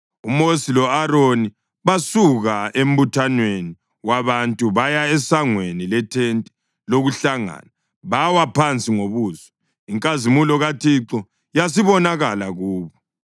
UMosi lo-Aroni basuka embuthanweni wabantu baya esangweni lethente lokuhlangana bawa phansi ngobuso, inkazimulo kaThixo yasibonakala kubo.